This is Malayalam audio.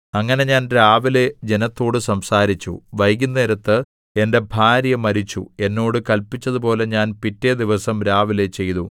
അങ്ങനെ ഞാൻ രാവിലെ ജനത്തോടു സംസാരിച്ചു വൈകുന്നേരത്ത് എന്റെ ഭാര്യ മരിച്ചു എന്നോട് കല്പിച്ചതുപോലെ ഞാൻ പിറ്റെ ദിവസം രാവിലെ ചെയ്തു